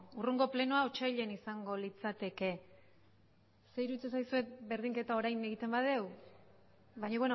hurrengo plenoa otsailean izango litzateke zer iruditzen zaizue berdinketa orain egiten badugu baina